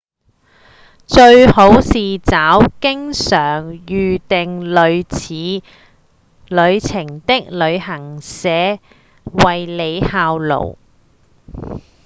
最好是找經常預訂類似旅程的旅行社為您效勞